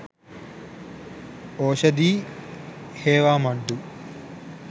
oshadi hewamaddu